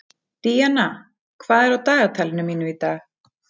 Díanna, hvað er á dagatalinu mínu í dag?